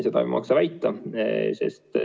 Seda ei maksa väita.